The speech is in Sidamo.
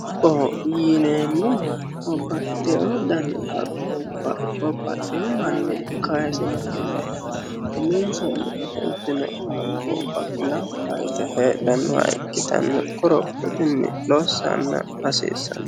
dubboho yineemmohu babbaxitino dani haqqubba babbaxino manni kaasinotinna uminsanni ofoltino haqqubba heedhannoha ikkitanna kuri lossa hasiissanno.